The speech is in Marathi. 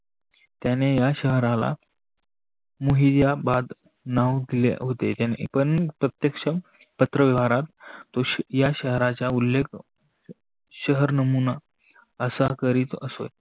त्याने या शहराला मोहिजाबाद नाव दिले होते पण प्रत्यक्षात पत्र व्यवहारात या शहाराच्या उल्लेख शहर नमुना असा करीत असो.